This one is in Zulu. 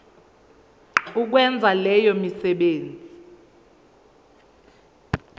ukwenza leyo misebenzi